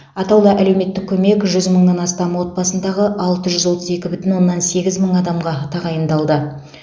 атаулы әлеуметтік көмек жүз мыңнан астам отбасындағы алты жүз отыз екі бүтін оннан сегіз мың адамға тағайындалды